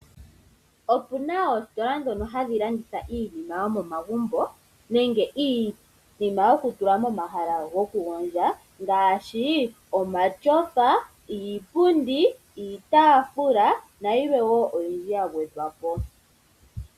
Opu na oostila ndhono hadhi landitha iinima yomomagumbo, nenge iinima yokutulwa momahala gokugondjwa, ngaashi omatyofa, iipundi, iitafula na yilwe wo oyindji ya gwedhwapo.